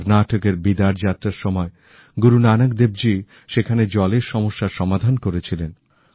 কর্নাটকের বিদার যাত্রার সময় গুরু নানক দেবজী সেখানের জলের সমস্যার সমাধান করেছিলেন